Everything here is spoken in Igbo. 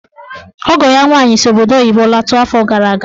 Ọgọ ya nwaanyị si obodo oyibo lọta afọ gara aga.